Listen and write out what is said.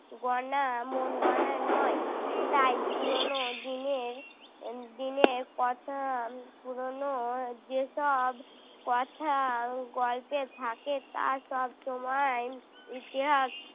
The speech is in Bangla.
গড়া মনগড়া নয় তাই পুরোনো দিনের দিনের কথা পুরোনো যেসব কথা গল্পে থাকে তা সব সময় ইতিহাস